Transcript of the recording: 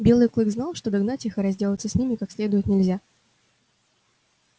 белый клык знал что догнать их и разделаться с ними как следует нельзя